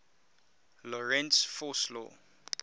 lorentz force law